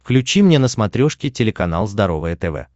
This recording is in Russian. включи мне на смотрешке телеканал здоровое тв